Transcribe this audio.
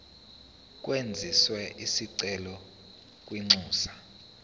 kwenziwe isicelo kwinxusa